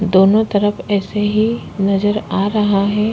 दोनों तरफ ऐसे ही नजर आ रहा है।